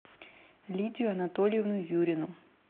лидию анатольевну юрину